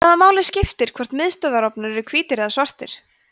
hvaða máli skiptir hvort miðstöðvarofnar eru hvítir eða svartir